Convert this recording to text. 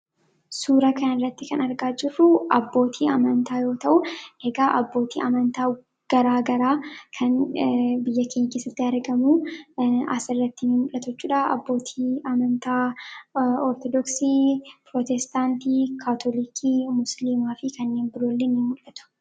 Suuraa kana irratti kan argaa jirru abbootii amantaa yoo ta'u, egaa abbootii amanta gara garaa kan biyya keenya keessatti argaman asirratti ni mul'atu jechuudha. Abbootiin amanta ortodoksii, pirotestaantii, kaatolikii, musliimaafi kanneen biroo illee nimul'atu.